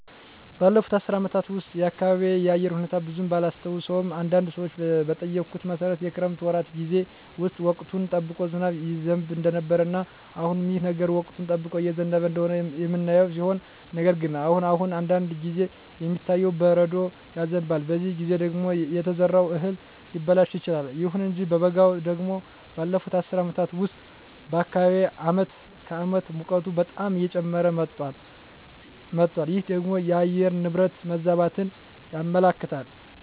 ባለፉት አስር አመታት ውስጥ የአካባቢየ የአየር ሁኔታ ብዙም ባላስታውሰውም አንዳንድ ሰዎችን በጠየኩት መሠረት የክረምት ወራት ጌዜ ውስጥ ወቅቱን ጠብቆ ዝናብ ይዘንብ እንደነበረ እና አሁንም ይህ ነገር ወቅቱን ጠብቆ እየዘነበ እንደሆነ የምናየው ሲሆን ነገር ግን አሁን አሁን አንዳንድ ጊዜ የሚታየው በረዶ ይዘንባል በዚህ ጊዜ ደግሞ የተዘራው እህል ሊበላሽ ይችላል። ይሁን እንጂ በበጋው ደግሞ ባለፋት አስር አመታት ውስጥ በአካባቢየ አመት ከአመት ሙቀቱ በጣም እየጨመረ መጧል ይህ ደግሞ የአየር ንብረት መዛባትን ያመለክታል